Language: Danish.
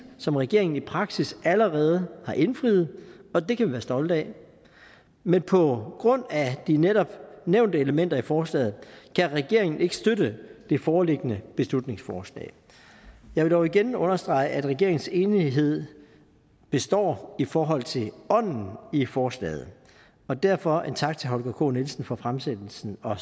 som regeringen i praksis allerede har indfriet og det kan vi være stolte af men på grund af de netop nævnte elementer i forslaget kan regeringen ikke støtte det foreliggende beslutningsforslag jeg vil dog igen understrege at regeringens enighed består i forhold til ånden i forslaget og derfor en tak til herre holger k nielsen for fremsættelsen og